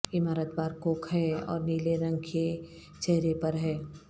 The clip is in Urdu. عمارت بارکوک ہے اور نیلے رنگ کے چہرے پر ہے